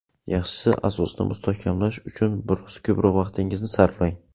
Yaxshisi asosni mustahkamlash uchun biroz ko‘proq vaqtingizni sarflang.